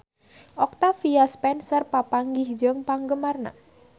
Octavia Spencer papanggih jeung penggemarna